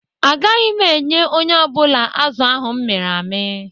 Agaghị m enye onye ọ bụla azụ̀ ahụ m mịrị amị.